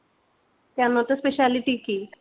কেন ওতে speciality কি